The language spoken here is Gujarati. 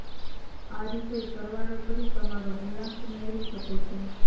આ રીતે સરવાળો કરી તમારો મૂલાંક મેળવી શકો છો